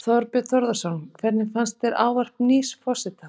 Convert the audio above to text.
Þorbjörn Þórðarson: Hvernig fannst þér ávarp nýs forseta?